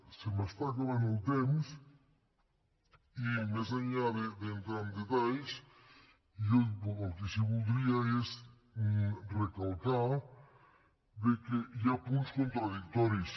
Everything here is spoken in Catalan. se m’està acabant el temps i més enllà d’entrar en detalls jo el que sí que voldria és recalcar bé que hi ha punts contradictoris